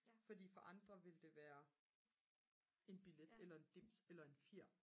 fordi for andre ville det være en billet eller en dims eller en fjer